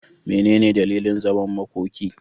Mene ne dalilin zaman makoki?